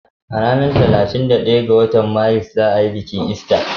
A ranar talatin da daya ga watan Maris za ayi bikin ista